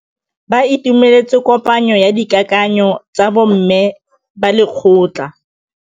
Ba itumeletse kôpanyo ya dikakanyô tsa bo mme ba lekgotla.